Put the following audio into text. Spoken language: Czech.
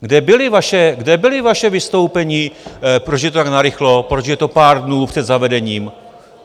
Kde byla vaše vystoupení, proč je to tak narychlo, proč je to pár dnů před zavedením?